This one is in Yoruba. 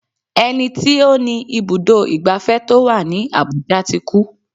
Ẹni tí ó ní ibùdó ìgbafẹ́ tó wà ní Abuja ti kú.